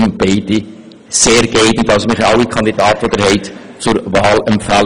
Wir können Ihnen namens des Ausschusses IV alle Kandidatinnen und Kandidaten zur Wahl empfehlen.